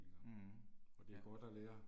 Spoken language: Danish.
Mh, ja